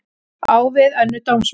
Á við önnur dómsmál